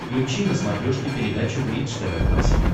включи на смотрешке передачу бридж тв классик